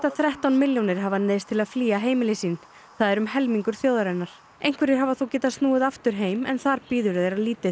þrettán milljónir hafa neyðst til að flýja heimili sín það er um helmingur þjóðarinnar einhverjir hafa þó getað snúið aftur heim en þar bíður þeirra lítið